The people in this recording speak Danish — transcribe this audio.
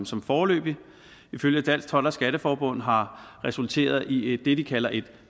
som foreløbig ifølge dansk told skatteforbund har resulteret i det de kalder et